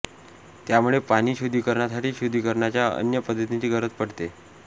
त्यामुळे पाणी शुद्धीकरणासाठी शुद्धीकरणाच्या अन्य पद्धतींची गरज पडते